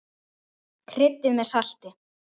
Kryddið með salti.